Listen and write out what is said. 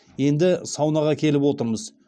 енді саунаға келіп отырмыз